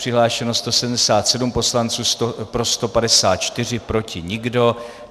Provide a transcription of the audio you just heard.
Přihlášeno 177 poslanců, pro 154, proti nikdo.